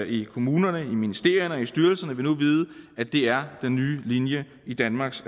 i kommunerne i ministerierne i styrelserne vil nu vide at det er den nye linje i danmarks